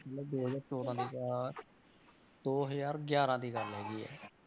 ਮਤਲਬ ਦੋ ਹਜ਼ਾਰ ਚੌਦਾਂ ਦੀ ਗ~ ਦੋ ਹਜ਼ਾਰ ਗਿਆਰਾਂ ਦੀ ਗੱਲ ਹੈਗੀ ਹੈ।